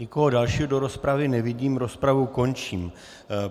Nikoho dalšího do rozpravy nevidím, rozpravu končím.